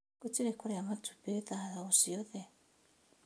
Gutirĩ kũrĩa matumbĩ thaa o ciothe